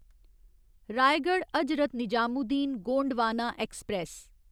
Raigarh Hazrat Nizamuddin Gondwana express